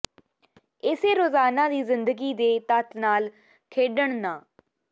ਇਸੇ ਰੋਜ਼ਾਨਾ ਦੀ ਜ਼ਿੰਦਗੀ ਦੇ ਤੱਤ ਨਾਲ ਖੇਡਣ ਨਾ